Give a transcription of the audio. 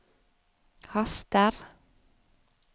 haster